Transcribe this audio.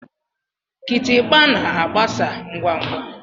Kitikpa na-agbasa ngwa ngwa.